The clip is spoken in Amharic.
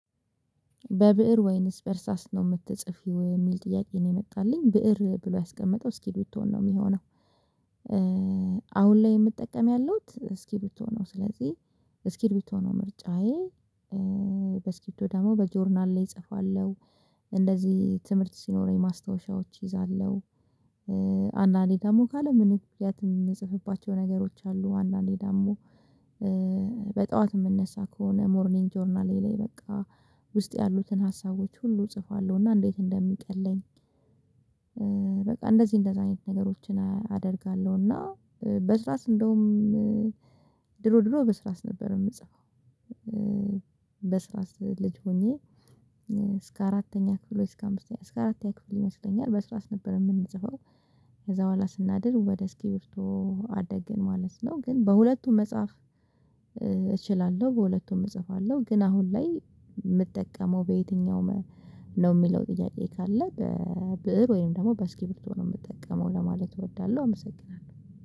በብእር ወይንስ በእርሳስ ነው የምትጽፊው? የሚል ጥያቄ ነው የመጣልኝ ብእር ብሎ ያስቀመጠው እስኪርብቶ ነው የሚሆነው። አሁን ላይ የምጠቀም ያሉት እስኪርብቶ ነው ስለዚህ እስኪርብቶ ነው ምርጫዬ በስኪርብቶ ደግሞ በጆርናል ላይ እጽፋለሁ፣ እንደዚህ ትምህርት ሲኖረኝ ማስታወሻዎች እይዛለሁ። አንዳንዴ ደግሞ ካለምንም ምክንያት የምጽፍባቸው ነገሮች አሉ፣ አንዳንዴ ዳሞ በጠዋት የምነሳ ከሆነ ሞርኒንግ ጆርናሌ ላይ በቃ ውስጥ ያሉትን ሀሳቦች ሁሉ እጽፋለሁና እንዴት እንደሚቀለኝ በቃ እንደዚህ እንደዚያ አይነት ነገሮችን አደርጋለሁ እና በርሳስ እንደውም ድሮ ድሮ በስራስ ነበር የምጽፈው። በስራስ ልጅ ሆኜ እስከ አራተኛ ክፍል ወይ እስከ አምስተኛ እስከ አራተኛ ክፍል ይመስለኛል በስራስ ነበር የምንጽፈው ከዛ ኋላ ስናድግ ወደ እስኪብርቶ አደግን ማለት ነው ግን በሁለቱም መጽሐፍ እችላለሁ። በሁለቱም እጽፋለሁ። ግን አሁን ላይ የምጠቀመው በየትኛውም ነው የሚለው ጥያቄ ካለ በብእር ወይም ደግሞ በስኪርብቶ ነው የምጠቀመው ለማለት እወዳለሁ አመሰግናለሁ።